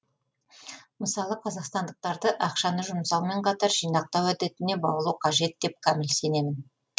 мысалы қазақстандықтарды ақшаны жұмсаумен қатар жинақтау әдетіне баулу қажет деп кәміл сенемін